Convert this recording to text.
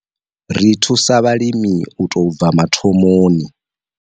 Ri thusa vhalimi u tou bva mathomoni.